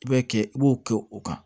I b'a kɛ i b'o kɛ o kan